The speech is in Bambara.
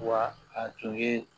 Wa a tun ye